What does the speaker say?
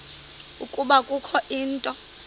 ukuba kukho into